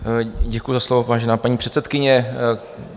Děkuji za slovo, vážená paní předsedkyně.